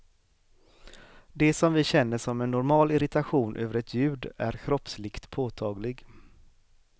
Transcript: Det som vi känner som en normal irritation över ett ljud är kroppsligt påtaglig.